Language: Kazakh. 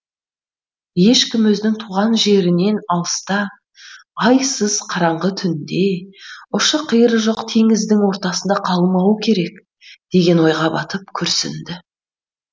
ешкім өзінің туған жерінен алыста айсыз қараңғы түнде ұшы қиыры жоқ теңіздің ортасында қалмауы керек деген ойға батып күрсінді